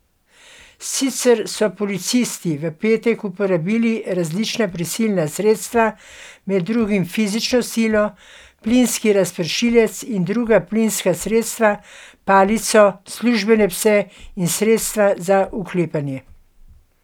Sicer so policisti v petek uporabili različna prisilna sredstva, med drugim fizično silo, plinski razpršilec in druga plinska sredstva, palico, službene pse in sredstva za uklepanje.